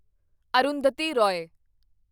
Arundhati Roy